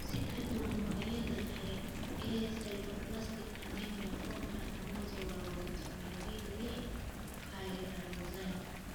Si ka duwan noocyada kale ee 'sideroblastic anemia', foomkani kama jawaabo fitamiin B liix(pyridoxine).